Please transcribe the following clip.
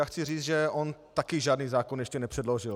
Já chci říct, že on také žádný zákon ještě nepředložil.